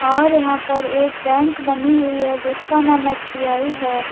और यहां पर एक बैंक बनी हुई है जिसका नाम एस_बी_आई है।